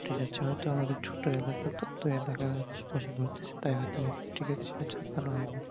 আমাদের ছোটো এলাকাতো তো এলাকা আশেপাশে ঘটতেছে তাই হয়তো পত্রিকাতে সেই ভাবে চাপানো হয়নি